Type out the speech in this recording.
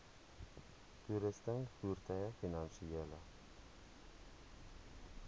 toerusting voertuie finansiële